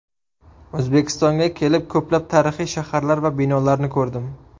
O‘zbekistonga kelib, ko‘plab tarixiy shaharlar va binolarni ko‘rdim.